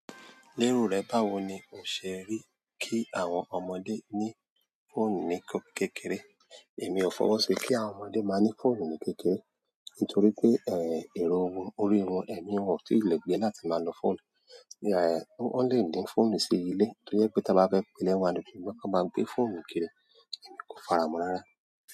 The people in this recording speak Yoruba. Lérò rẹ báwo ni o ṣe rí kí àwọn ọmọdé ní fóònù ní kékeré? Èmi ò fọwọ́ sí kí àwọn ọmọdé máa ní fóònù ní kékeré. Nítorí pé, èrò won, orí won, ẹ́mi wọn ò tí ì le gbé láti máa lo fóònù. Wọ́n le ní fóònù sí ilé tó jẹ́ pé tí a bá fẹ́ pe lẹ́ wo kí wọ́n máa gbé fóònù kiri, èmi kò fara mọ́ rárá.